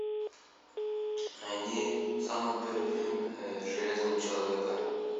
найди самый первый фильм железного человека